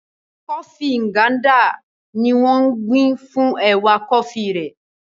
Kọfí Nganda ni wọ́n ń gbìn fún ẹ̀wà kọfí rẹ̀.